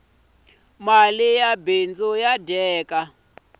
mali ya bindzu ya dyeka